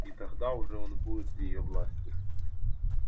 и тогда уже он будет в её власти